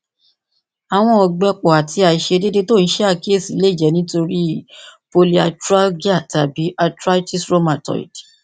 awọn ọgbẹpọ ati aiṣedede ti o n ṣe akiyesi le jẹ nitori polyarthralgia tabi arthritis rheumatoid